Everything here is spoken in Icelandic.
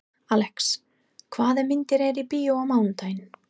Alex, hvaða myndir eru í bíó á mánudaginn?